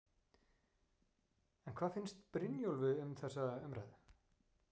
En hvað finnst Brynjólfi um þá umræðu?